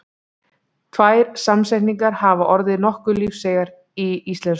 Tvær samsetningar hafa orðið nokkuð lífseigar í íslensku.